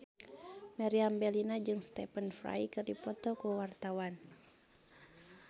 Meriam Bellina jeung Stephen Fry keur dipoto ku wartawan